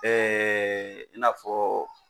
i n'a fɔ